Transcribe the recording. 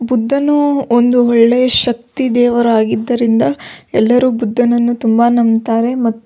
ಬುದ್ದನು ಒಂದು ಒಳ್ಳೆಯ ಶಕ್ತಿ ದೇವರಾಗಿದ್ದರಿಂದ ಎಲ್ಲರು ಬುದ್ದನನ್ನು ತುಂಬ ನಂಬ್ತಾರೆ ಮತ್ತು --